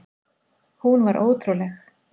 Hún var ótrúleg.